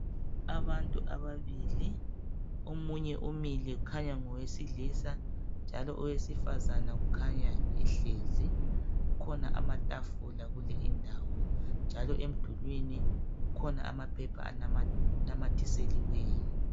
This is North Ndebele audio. Abantu ababili omunye umile ukhanya ngowesilisa njalo owesifazana ukhanya ehlezi kukhona amatafula kule indawo njalo emdulwini kukhona amaphepha anamathiseliwelo.